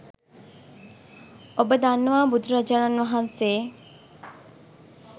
ඔබ දන්නවා බුදුරජාණන් වහන්සේ